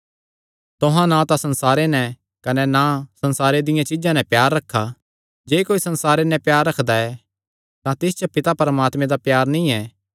तुहां ना तां संसारे नैं कने ना संसारे दियां चीज्जां नैं प्यार रखा जे कोई संसारे नैं प्यार रखदा ऐ तां तिस च पिता परमात्मे दा प्यार नीं ऐ